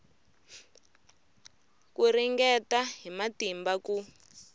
ku ringeta hi matimba ku